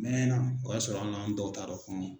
A mɛna o y'a sɔrɔ ali an dɔw taa dɔn